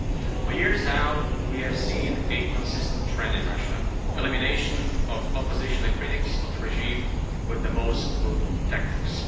For years now, we have seen a consistent trend in Russia elimination of opposition and critics of the regime with the most brutal tactics.